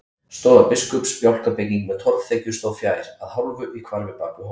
Stofa biskups, bjálkabygging með torfþekju stóð fjær, að hálfu í hvarfi bak við hól.